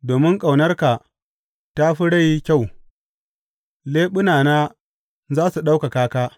Domin ƙaunarka ta fi rai kyau, leɓunana za su ɗaukaka ka.